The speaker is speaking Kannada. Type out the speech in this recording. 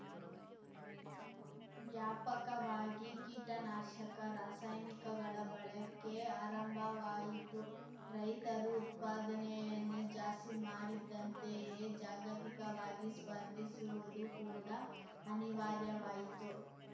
ವ್ಯಾಪಕವಾಗಿ ಕೀಟನಾಶಕ ರಾಸಾಯನಿಕಗಳ ಬಳಕೆ ಆರಂಭವಾಯಿತು ರೈತರು ಉತ್ಪಾದನೆಯನ್ನು ಜಾಸ್ತಿ ಮಾಡಿದ್ದಂತೆಯೇ ಜಾಗತಿಕವಾಗಿ ಸ್ಪರ್ಧಿಸುವುದು ಕೂಡ ಅನಿವಾರ್ಯವಾಯಿತು